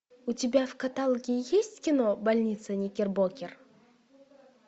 у тебя в каталоге есть кино больница никербокер